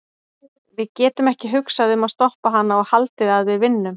Við getum ekki hugsað um að stoppa hana og haldið að við vinnum.